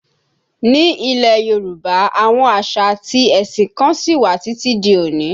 Ni ilẹ̀ Yorùbá, àwọn àṣà àti ẹ̀sìn kan sí wà títí di òní